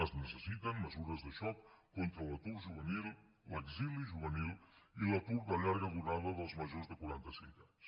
es necessiten mesures de xoc contra l’atur juvenil l’exili juvenil i l’atur de llarga durada dels majors de quarantacinc anys